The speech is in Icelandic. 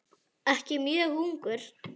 Ekki mjög ungur.